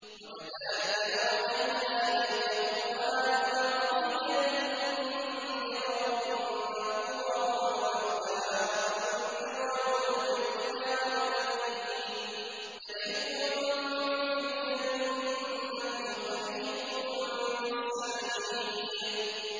وَكَذَٰلِكَ أَوْحَيْنَا إِلَيْكَ قُرْآنًا عَرَبِيًّا لِّتُنذِرَ أُمَّ الْقُرَىٰ وَمَنْ حَوْلَهَا وَتُنذِرَ يَوْمَ الْجَمْعِ لَا رَيْبَ فِيهِ ۚ فَرِيقٌ فِي الْجَنَّةِ وَفَرِيقٌ فِي السَّعِيرِ